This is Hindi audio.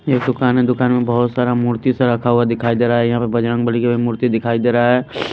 ये दुकान है दुकान में बहुत सारा मूर्ति सा रखा हुआ दिखाई दे रहा है यहाँ पर बजरंगबली का भी मूर्ति दिखाई दे रहा है।